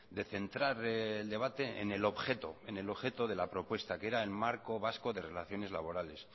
de centrar el debate en el objeto en el objeto de la propuesta que era el marco vasco de relaciones laborales